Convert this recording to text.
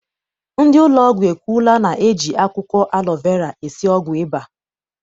Ndị ụlọọgwụ ekwuola na eji akwụkwọ alọ vera esi ọgwụ ụba.